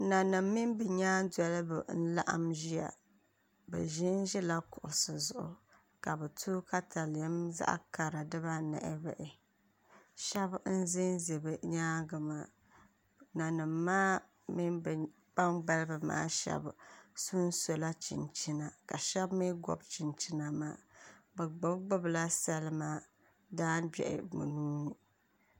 Nanim mini bi nyaan dolibi n laɣam ʒiya bi ʒinʒila kuɣusi zuɣu ka bi to katalɛm zaɣ kara dibanahi bahi shab n ʒɛnʒɛ bi nyaangi maa nanim maa mini bi kpambalibi maa shab sonsola chinchina ka shab mii gobi chinchina maa bi gbubi gbubila salima daangbiɣi bi nuuni